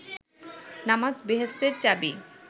নামাজ বেহেস্তের চাবি